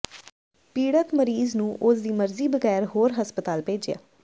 ਪੀੜਤ ਮਰੀਜ਼ ਨੂੰ ਉਸ ਦੀ ਮਰਜ਼ੀ ਬਗੈਰ ਹੋਰ ਹਸਪਤਾਲ ਭੇਜਿਆ